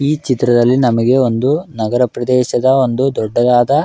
ಈ ಚಿತ್ರದಲ್ಲಿ ನಮಗೆ ಒಂದು ನಗರ ಪ್ರದೇಶದ ಒಂದು ದೊಡ್ಡದಾದ --